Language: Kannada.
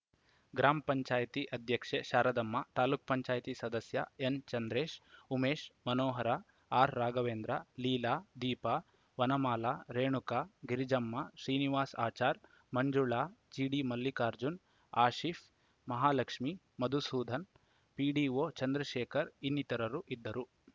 ಗ್ರಾಮ ಪಂಚಾಯತ್ತಿ ಆಧ್ಯಕ್ಷೆ ಶಾರದಮ್ಮ ತಾಲೂಕ್ ಪಂಚಾಯತ್ ಸದಸ್ಯ ಎನ್‌ಚಂದ್ರೇಶ್‌ ಉಮೇಶ್‌ ಮನೋಹರ ಆರ್‌ರಾಘವೇಂದ್ರ ಲೀಲಾ ದೀಪಾ ವನಮಾಲ ರೇಣುಕಾ ಗಿರಿಜಮ್ಮ ಶ್ರೀನಿವಾಸ್‌ ಅಚಾರ್‌ ಮಂಜುಳಾ ಜಿಡಿಮಲ್ಲಿಕಾರ್ಜುನ ಆಶೀಫ್‌ ಮಹಾಲಕ್ಷ್ಮಿ ಮಧುಸೂದನ್‌ ಪಿಡಿಒ ಚಂದ್ರಶೇಖರ್‌ ಇನ್ನಿತರರು ಇದ್ದರು